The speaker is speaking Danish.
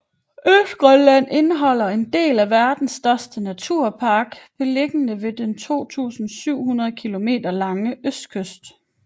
Østgrønland indeholder en del af verdens største naturpark beliggende ved den 2700 kilometer lange østkyst